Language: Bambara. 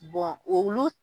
Bɔn olu